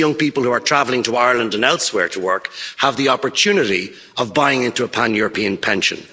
Those young people who are travelling to Ireland and elsewhere to work have the opportunity of buying into a pan European pension.